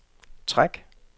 træk